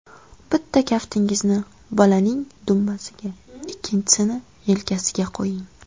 Bitta kaftingizni bolaning dumbasiga, ikkinchisini yelkasiga qo‘ying.